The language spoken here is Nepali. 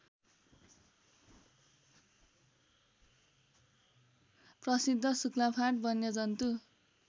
प्रसिद्ध शुक्लाफाँट वन्यजन्तु